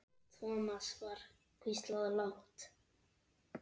Thomas var hvíslað lágt.